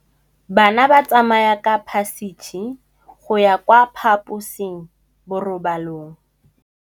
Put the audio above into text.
Bana ba tsamaya ka phašitshe go ya kwa phaposiborobalong.